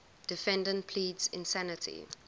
defendant pleads insanity